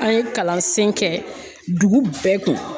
An ye kalansen kɛ dugu bɛɛ kun